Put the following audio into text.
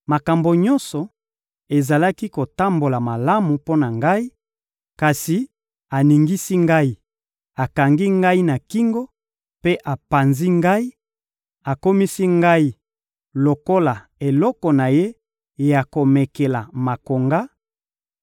Makambo nyonso ezalaki kotambola malamu mpo na ngai, kasi aningisi ngai, akangi ngai na kingo mpe apanzi ngai, akomisi ngai lokola eloko na Ye ya komekela makonga;